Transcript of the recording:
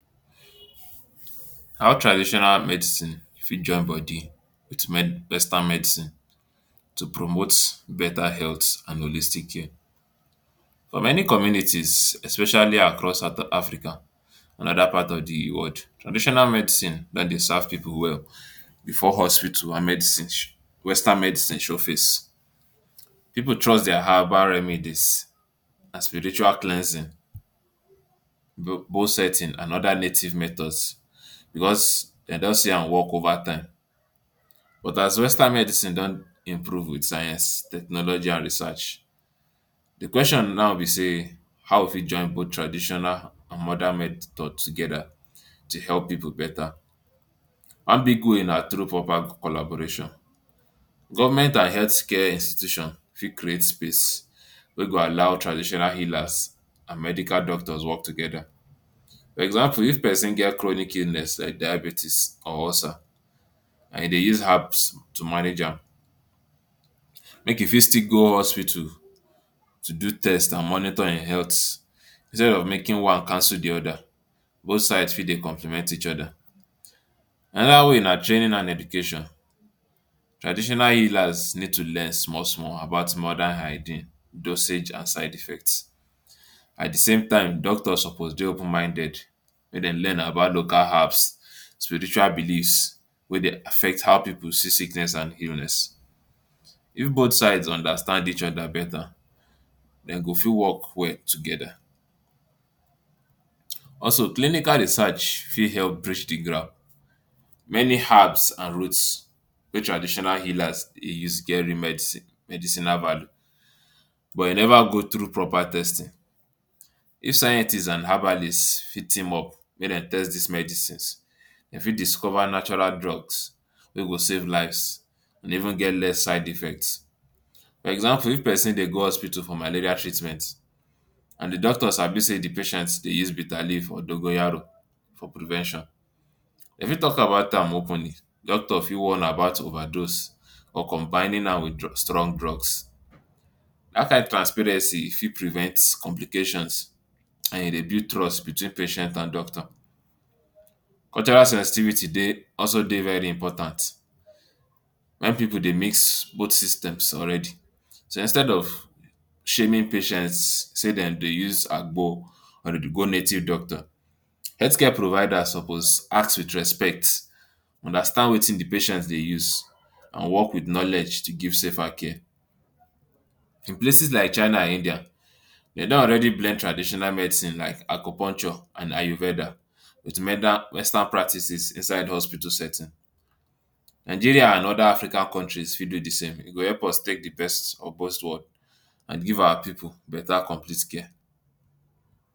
How traditional medicine fit join body to wes western medicine to promote beta health and holistic care? For many communities especially across south African and oda part of di world, traditional medicine dem dey serve pipu well before hospital and medical show western medicine show face. Pipu trust dia herbal remedies and spiritual cleansing, bone setting and oda natural methods because dem don see am work over time, but as western medicine don improve wit science, technology and research, di question now be say how we fit join both traditional and modern methods together to help pipu beta? One big way na through proper collaboration, government and healthcare institution fit create space wey go allow traditional healers and medical doctors work together. For example, if pesin get chronic illness like diabetics and ulcer and e dey use herbs to manage am make e fit still go hospital to do test and monitor him health instead of making one cancel di oda both side still dey compliment each oda. Anoda way na training and education, traditional healers need to learn small small about modern hygiene, dosage, and side effect. At di same time doctors suppose dey open minded make dem learn about local herbs, spiritual believes wey dey affect how pipu see sickness and illness. If both sides understand each oda beta dem go fit work well together. Also clinical research fit help bridge di gap, many herbs and roots wey traditional healers dey use get real medicine medicinal value but e neva go through proper testing. If scientists and herbalists fit team up make dem test dis medicines dem fit discover natural drugs wey go save lives and even get less side effects. Example, if pesin dey go hospital for malaria treatment and di doctor sabi say di patient dey use bitter leaf or dongoyaro for prevention, e fit talk about am openly, doctor fit warn about overdose or combining am wit dru strong drugs, dat kain transparency fit prevent complications and e dey build trust between patient and doctor. Cultural sensitivity dey also dey very important, many pipu dey mix both systems already, so instead of shaming patients say dem dey use agbo or dem dey go native doctor, healthcare providers suppose ask wit respect, understand watin di patient dey use and work wit knowledge to give safer care. In places like China and India, dem don already blend traditional medicine like Acupuncture and Ayurveda wit medi western practices inside hospital setting. Nigeria and oda African countries fit do di same tin e go help us take di best or both and give our pipu bata complete care.